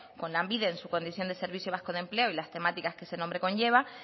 con lanbide en su condición de servicio vasco de empleo y las temáticas que ese nombre conlleva